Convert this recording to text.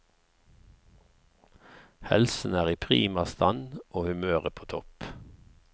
Helsen er i prima stand og humøret på topp.